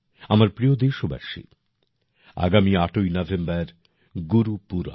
আমার প্রিয় দেশবাসী আগামী ৮ই নভেম্বর গুরুপুরব